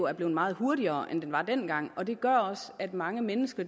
er blevet meget hurtigere end den var dengang og det gør også at mange mennesker